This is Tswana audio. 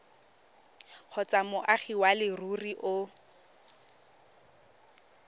kgotsa moagi wa leruri o